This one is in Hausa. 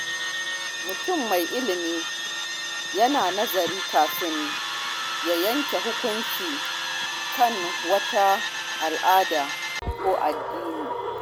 Mutum mai ilimi yana nazari kafin ya yanke hukunci kan wata al’ada ko ɗabi’a.